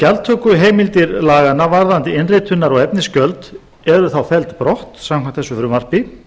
gjaldtökuheimildir laganna varðandi innritunar og efnisgjöld yrðu þá felld brott samkvæmt þessu frumvarpi